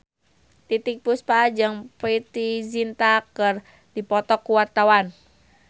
Titiek Puspa jeung Preity Zinta keur dipoto ku wartawan